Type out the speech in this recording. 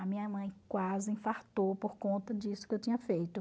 A minha mãe quase infartou por conta disso que eu tinha feito.